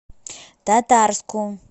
татарску